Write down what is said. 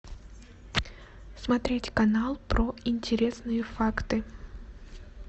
смотреть канал про интересные факты